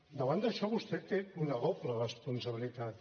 davant d’això vostè té una doble responsabilitat